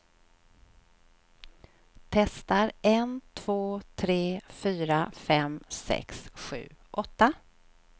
Testar en två tre fyra fem sex sju åtta.